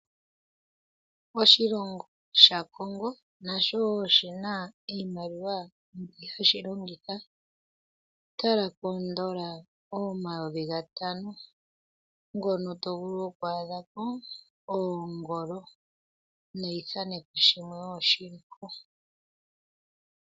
Oshilongo shaCongo nasho oshina iimaliwa hashi longitha. Tala kondola omayovi gatano ngono to vulu oku adha ko oongolo neithaneko shimwe shili ko.